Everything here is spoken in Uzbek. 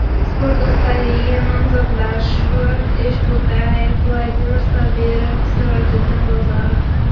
Sport ustaligiga nomzodlar: Shuhrat Eshbo‘tayev, Vladimir Sobirov, Sirojiddin Bozorov.